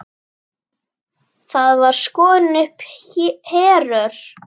Þá var skorin upp herör.